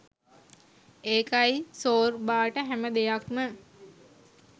ඒකයි සෝර්බාට හැම දෙයක් ම